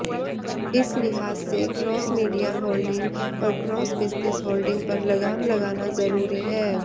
इस लिहाज से क्रॉस मीडिया होल्डिंग और क्रॉस बिजनेस होल्डिंग पर लगाम लगाना जरूरी है